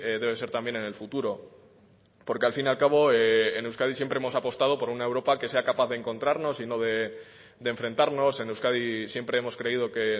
debe ser también en el futuro porque al fin y al cabo en euskadi siempre hemos apostado por una europa que sea capaz de encontrarnos y no de enfrentarnos en euskadi siempre hemos creído que